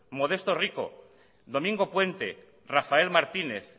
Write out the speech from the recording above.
modesto rico domingo puente rafael martínez